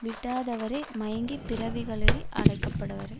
விடாதவரோ மயங்கி பிறவிகளில் ஆடைக்கப்படுபவரே